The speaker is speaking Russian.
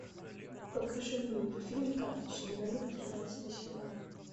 покажи мне мультфильм карточный домик тринадцатый сезон